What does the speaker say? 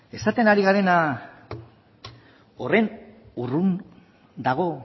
esaten ari garena horren urrun dago